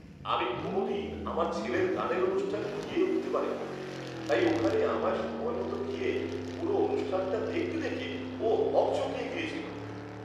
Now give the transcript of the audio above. আমি কোনোদিন আমার ছেলের গানের অনুষ্ঠানে গিয়ে উঠতে পারিনি, তাই ওখানে আমায় সময়মত গিয়ে পুরো অনুষ্ঠানটা দেখতে দেখে ও হকচকিয়ে গেছিল!